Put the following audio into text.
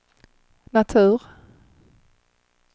natur